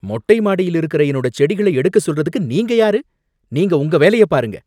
மொட்டை மாடியில் இருக்கிற என்னோட செடிகளை எடுக்க சொல்றதுக்கு நீங்க யாரு? நீங்க உங்க வேலைய பாருங்க